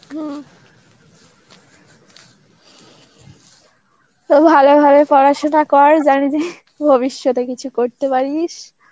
হমম তো ভালোভাবে পড়াশুনা কর. জানি তুই ভবিষ্যতে কিছু করতে পারিস.